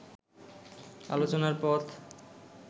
আলোচনার পথ